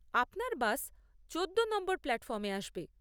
আপনার বাস চোদ্দো নম্বর প্ল্যাটফর্মে আসবে।